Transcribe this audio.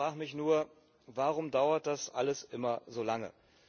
Ich frage mich nur, warum dauert das alles immer so lange?